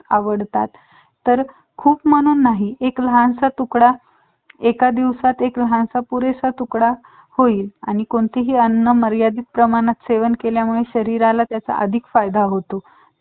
आवडतात तर खूप म्हणून नाही एक लहानसा तुकडा एका दिवसात एक लहानसा पुरेसा तुकडा होईल आणि कोणतीही अन्न मर्यादित प्रमाणात सेवन केल्यामुळे शरीराला त्याचा अधिक फायदा होतो